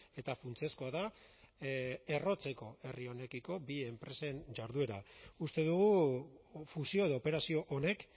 eta funtsezkoa da errotzeko herri honekiko bi enpresen jarduera uste dugu fusio edo operazio honek